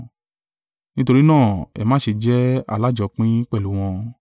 Nítorí náà ẹ má ṣe jẹ́ alájọpín pẹ̀lú wọn.